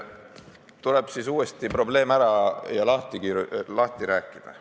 Tuleb siis uuesti probleem lahti rääkida.